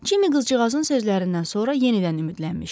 Cimmy qızcığazın sözlərindən sonra yenidən ümidlənmişdi.